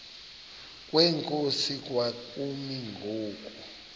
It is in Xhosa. kwenkosi kwakumi ngoku